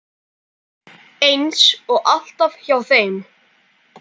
Eins og alltaf hjá þeim.